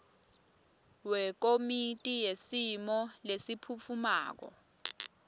wekomiti yesimo lesiphutfumako